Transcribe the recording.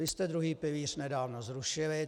Vy jste druhý pilíř nedávno zrušili.